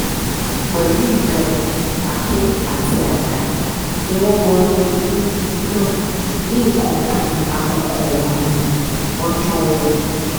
pẹ̀lú ìbọn àáké àti àdá ni wọ́n wọnú ilé náà ní nǹkan bíi aago kan òru ọjọ́ ọ̀hún